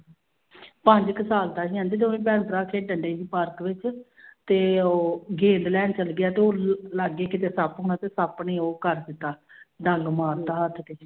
ਪੰਜ ਕੁ ਸਾਲ ਦਾ ਸੀ ਕਹਿੰਦੀ ਦੋਵੇਂ ਭੈਣ ਭਰਾ ਖੇਡਣਡੇ ਸੀ ਪਾਰਕ ਵਿੱਚ ਤੇ ਉਹ ਗੇਂਦ ਲੈਣ ਚਲੇ ਗਿਆ ਤੇ ਉਹ ਲਾਗੇ ਕਿਤੇ ਸੱਪ ਹੋਣਾ ਤੇ ਸੱਪ ਨੇ ਉਹ ਕਰ ਦਿੱਤਾ ਡੰਗ ਮਾਰ ਦਿੱਤਾ ਹੱਥ ਤੇ।